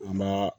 U ma